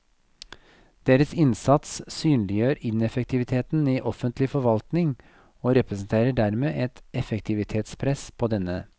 Deres innsats synliggjør ineffektiviteten i offentlig forvaltning og representerer dermed et effektivitetspress på denne.